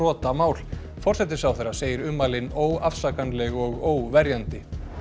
siðabrotamál forsætisráðherra segir ummælin óafsakanleg og óverjandi